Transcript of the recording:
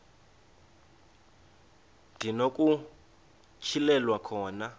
ndi nokutyhilelwa khona